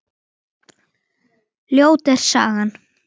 Ljót er sagan.